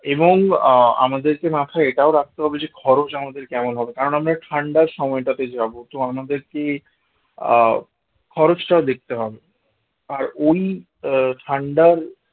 এবং আহ আমাদেরকে মাথায় এটাও রাখতে হবে যে খরচ আমাদের কেমন হবে কারণ আমরা ঠান্ডার সময়টাতে যাব তো আমাদেরকে আহ খরচটা দেখতে হবে, আর ওই আহ ঠান্ডার